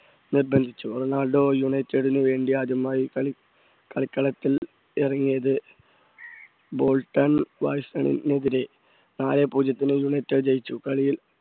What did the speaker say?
നിർബന്ധിച്ചു റൊണാൾഡോ യുണൈറ്റഡിന് വേണ്ടി ആദ്യമായി കളി~കളിക്കളത്തിൽ ഇറങ്ങിയത് ബോൾട്ടൻവാട്സൺ എതിരെ നാലെ പൂജ്യത്തിന് യുണൈറ്റഡ് ജയിച്ചു കളിയിൽ